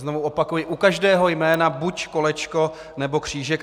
Znovu opakuji: u každého jména buď kolečko nebo křížek.